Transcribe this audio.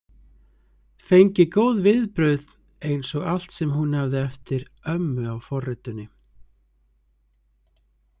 Fengi góð viðbrögð eins og allt sem hún hafði eftir ömmu á forritinu.